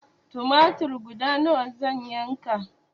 Tumatir guda nawa zan yanka?